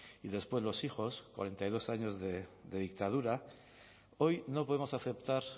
y después los hijos cuarenta y dos años de dictadura hoy no podemos aceptar